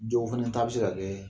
Jɔw fana ta bɛ se ka kɛ